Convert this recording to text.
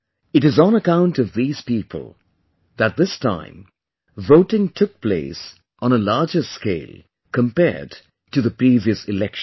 It is on account of these people that this time voting took place on a larger scale compared to the previous Election